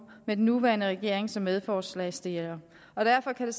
af den nuværende regering som medforslagsstillere derfor kan